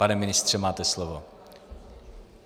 Pane ministře, máte slovo.